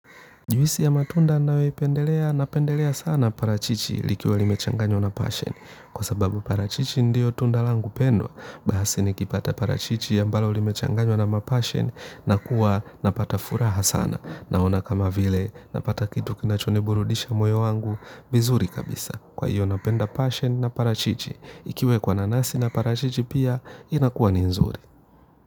Juisi ya matunda nayoipendelea napendelea sana parachichi likiwa limechanganywa na passion. Kwa sababu parachichi ndiyo tunda langu pendwa. Basi nikipata parachichi ambalo limechanganywa na ma Passion nakuwa napata furaha sana. Naona kama vile napata kitu kinachoniburudisha moyo wangu vizuri kabisa. Kwa hiyo napenda passion na parachichi. Ikiwekwa nanasi na parachichi pia inakuwa ni nzuri.